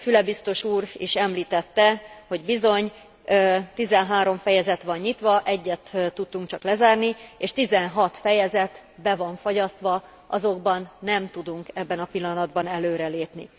Füle biztos úr is említette, hogy bizony 13 fejezet van nyitva, egyet tudtunk csak lezárni, és 16 fejezet be van fagyasztva, azokban nem tudunk ebben a pillanatban előrelépni.